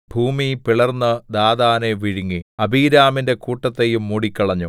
ഭൂമി പിളർന്ന് ദാഥാനെ വിഴുങ്ങി അബീരാമിന്റെ കൂട്ടത്തെയും മൂടിക്കളഞ്ഞു